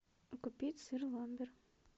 купить сыр ламбер